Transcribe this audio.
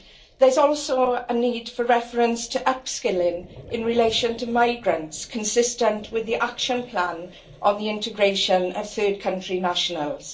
There's also a need for a reference to upskilling in relation to migrants, consistent with the action plan on the integration of third-country nationals.